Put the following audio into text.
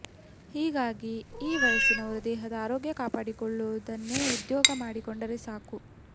ಹೀಗಾಗಿ ಈ ವಯಸ್ಸಿನವರು ದೇಹದ ಆರೋಗ್ಯ ಕಾಪಾಡಿಕೊಳ್ಳುವುದನ್ನೇ ಉದ್ಯೋಗ ಮಾಡಿಕೊಂಡರೆ ಸಾಕು